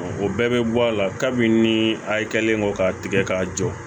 O bɛɛ bɛ bɔ a la kabi ni a ye kɛlen kɔ k'a tigɛ k'a jɔ